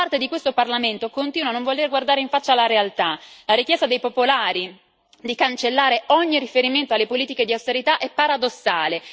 Parte di questo Parlamento continua a non voler guardare in faccia la realtà la richiesta del gruppo PPE di cancellare ogni riferimento alle politiche di austerità è paradossale.